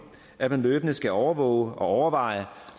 at man løbende skal overvåge reglerne og overveje